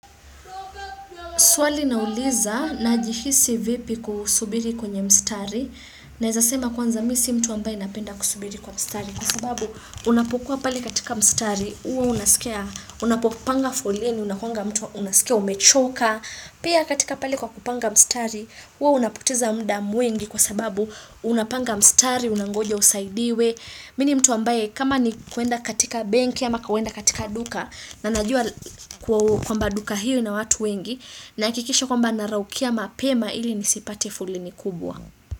Swali nauliza na ihisi vipi kusubiri kwenye mstari. Naeza sema kwanza mi si mtu ambaye napenda kusubiri kwa mstari. Kwa sababu unapokuwa pali katika mstari. Uwe unapopanga foleni, unakuanga mtu unasikia umechoka. Pia katika pali kwa kupanga mstari. Uwe unapotiza mda muengi kwa sababu unapanga mstari, unangoja usaidiwe. Mi ni mtu ambaye kama ni kuenda katika banki ama kuenda katika duka. Nana jua kwamba duka hiyo ina watu wengi. Na kikisha kwamba naraukia mapema ili nisipate fuleni kubwa.